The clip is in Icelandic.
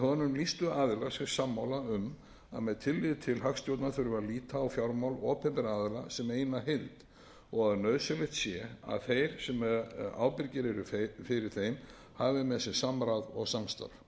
sig sammála um að með tilliti til hagstjórnar þurfi að líta á fjármál opinberra aðila sem eina heild og að nauðsynlegt sé að þeir sem ábyrgir eru fyrir þeim hafi með sér samráð og samstarf